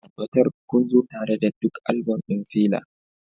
Tabbatar kun zo tare da duk album ɗin Fela